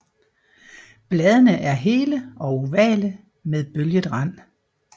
Bladene er hele og ovale med bølget rand